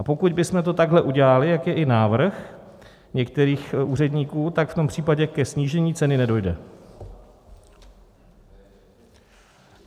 A pokud bychom to takhle udělali, jak je i návrh některých úředníků, tak v tom případě ke snížení ceny nedojde.